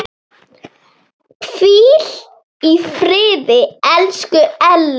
Hvíl í friði, elsku Elli.